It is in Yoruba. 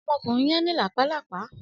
Ọmọkunrin yẹn ni lápá lápá.